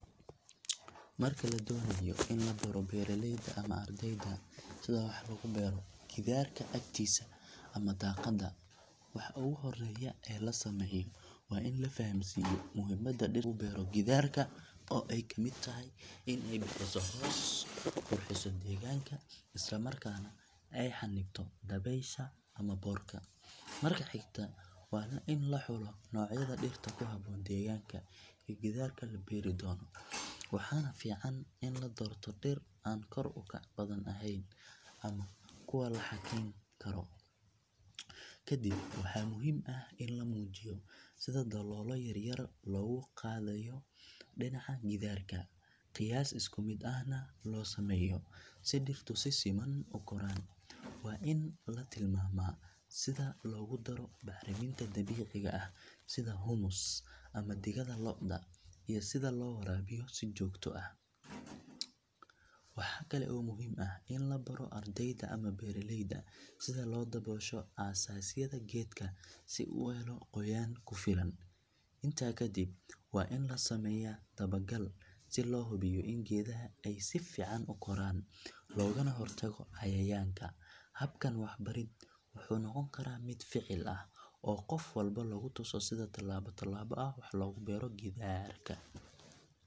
Marka la doonayo in la baro beeraleyda ama ardayda sida wax loogu beero gidaarka agtiisa ama daaqadda, waxa ugu horreeya ee la sameeyo waa in la fahamsiiyo muhiimadda dhirta lagu beero gidaarka oo ay ka mid tahay in ay bixiso hoos, qurxiso deegaanka, isla markaana ay xannibto dabaysha ama boodhka. Marka xigta waa in la xulo noocyada dhirta ku habboon deegaanka iyo gidaarka la beeri doono, waxaana fiican in la doorto dhir aan kor u kac badan ahayn ama kuwa la xakayn karo. Kadib waxaa muhiim ah in la muujiyo sida daloolo yar yar loogu qodayo dhinaca gidaarka, qiyaas isku mid ahna loo sameeyo si dhirtu si siman u koraan. Waa in la tilmaamaa sida loogu daro bacriminta dabiiciga ah sida humus ama digada lo’da iyo sida loo waraabiyo si joogto ah. Waxaa kale oo muhiim ah in la baro ardayda ama beeraleyda sida loo daboosho asaasyada geedka si uu u helo qoyaan ku filan. Intaa kadib waa in la sameeyaa dabagal si loo hubiyo in geedaha ay si fiican u koraan loogana hortago cayayaanka. Habkan waxbarid wuxuu noqon karaa mid ficil ah oo qof walba lagu tuso sida tallaabo tallaabo ah wax loogu beero gidaarka.